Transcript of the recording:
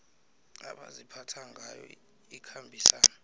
abaziphatha ngayo ikhambisana